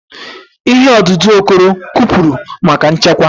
Ìhè ọdụdụ Okoro kụpụrụ maka nchekwa.